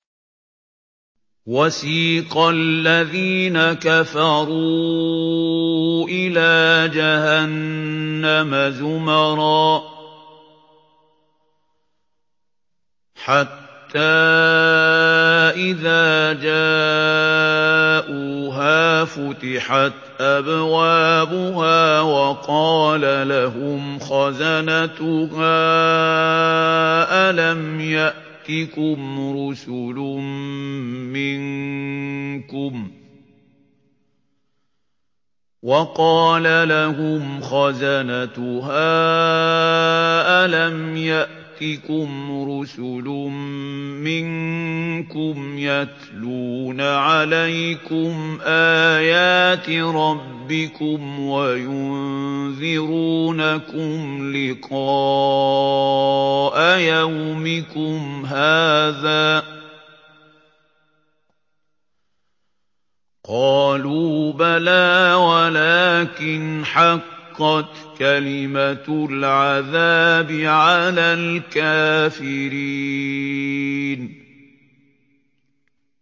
وَسِيقَ الَّذِينَ كَفَرُوا إِلَىٰ جَهَنَّمَ زُمَرًا ۖ حَتَّىٰ إِذَا جَاءُوهَا فُتِحَتْ أَبْوَابُهَا وَقَالَ لَهُمْ خَزَنَتُهَا أَلَمْ يَأْتِكُمْ رُسُلٌ مِّنكُمْ يَتْلُونَ عَلَيْكُمْ آيَاتِ رَبِّكُمْ وَيُنذِرُونَكُمْ لِقَاءَ يَوْمِكُمْ هَٰذَا ۚ قَالُوا بَلَىٰ وَلَٰكِنْ حَقَّتْ كَلِمَةُ الْعَذَابِ عَلَى الْكَافِرِينَ